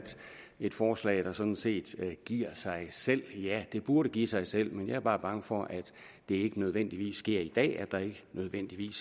et forslag der sådan set giver sig selv ja det burde give sig selv men jeg er bare bange for at det ikke nødvendigvis sker i dag altså at der ikke nødvendigvis